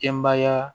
Denbaya